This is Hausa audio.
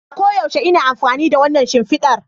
A koyaushe ina amfani da wannan shimfidar